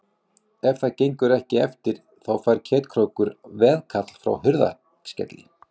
Ef það gengur ekki eftir þá fær Ketkrókur veðkall frá Hurðaskelli.